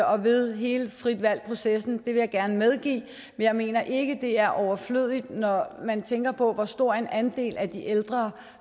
og ved hele frit valg processen det vil jeg gerne medgive men jeg mener ikke det er overflødigt når man tænker på hvor stor en andel af de ældre